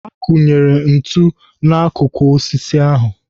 Ha kunyere ntu n'akụkụ osisi ahu.